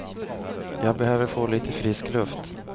Jag behöver få lite frisk luft.